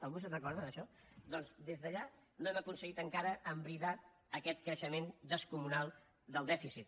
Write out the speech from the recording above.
algú se’n recorda d’això doncs des d’allà no hem aconseguit encara embridar aquest creixement descomunal del dèficit